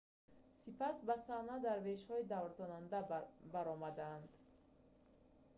сипас ба саҳна дарвешҳои даврзананда баромаданд